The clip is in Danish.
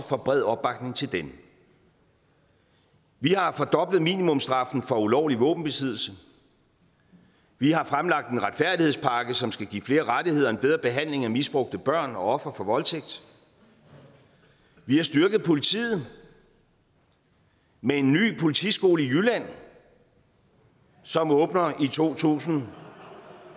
for bred opbakning til den vi har fordoblet minimumsstraffen for ulovlig våbenbesiddelse vi har fremlagt en retfærdighedspakke som skal give flere rettigheder og en bedre behandling af misbrugte børn og ofre for voldtægt vi har styrket politiet med en ny politiskole i jylland som åbner i to tusind